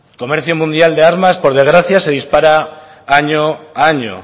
comercio mundial de armas por desgracia se dispara año a año